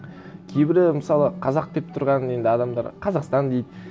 кейбірі мысалы қазақ деп тұрған енді адамдар қазақстан дейді